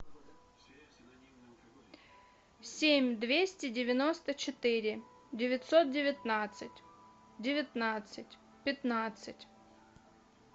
семь двести девяносто четыре девятьсот девятнадцать девятнадцать пятнадцать